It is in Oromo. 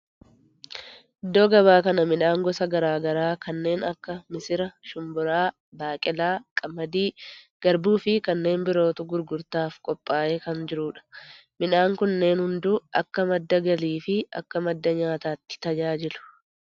Iddoo gabaa kana midhaan gosa garaa garaa kanneen akka missira, shumburaa, baaqeelaa, qamadii, garbuu fi kanneen birootu gurgurtaaf qophaa'ee kan jirudha. Midhaan kunneen hunduu akka madda galii fi akka madda nyaatatti tajaajilu.